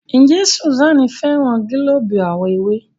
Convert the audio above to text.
Njé Susan féràn gilobu àwo ewé?